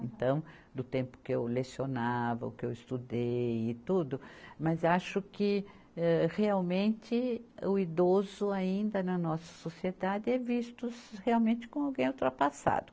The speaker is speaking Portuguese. Então, do tempo que eu lecionava, o que eu estudei e tudo, mas acho que, âh, realmente o idoso ainda na nossa sociedade é visto realmente como alguém ultrapassado.